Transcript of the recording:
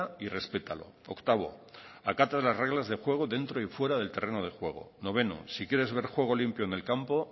y respétalo octavo acata las reglas del juego dentro y fuera del terreno de juego noveno si quieres ver juego limpio en el campo